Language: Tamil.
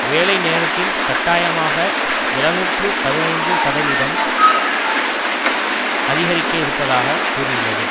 வேலைநேரத்தில் கட்டாயமாக எழுநூற்று பதினைந்து சதவிகிதம் அதிகரிக்க இருப்பதாக கூறியுள்ளது